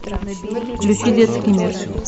включи детский мир